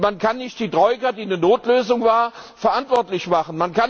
Man kann nicht die Troika, die eine Notlösung war, verantwortlich machen.